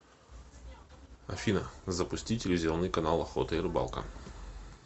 афина запусти телевизионный канал охота и рыбалка